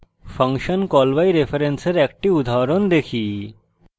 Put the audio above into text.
function call by reference এর একটি উদাহরণ দেখি